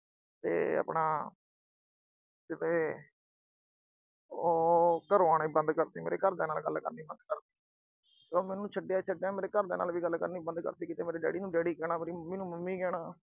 ਤੇ ਆਪਣਾ। ਤੇ ਉਹ ਘਰੋਂ ਆਉਣਾ ਬੰਦ ਕਰਤੀ। ਮੇਰੇ ਘਰ ਦੀਆਂ ਨਾਲ ਗੱਲ ਕਰਨਾ ਬੰਦ ਕਰਤੀ। ਉਹ ਮੈਨੂੰ ਛੱਡਿਆ, ਛੱਡਿਆ। ਮੇਰੇ ਘਰ ਦੀਆਂ ਨਾਲ ਗੱਲ ਕਰਨਾ ਬੰਦ ਕਰਤੀ। ਕਿਤੇ ਮੇਰੇ daddy ਨੂੰ daddy ਕਹਿਣਾ, mummy ਨੂੰ mummy ਕਹਿਣਾ।